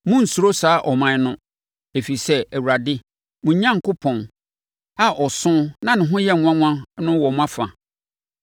Monnsuro saa aman no, ɛfiri sɛ, Awurade, mo Onyankopɔn, a ɔso na ne ho yɛ nwanwa no wɔ mo afa.